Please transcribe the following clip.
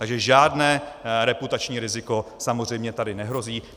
Takže žádné reputační riziko samozřejmě tady nehrozí.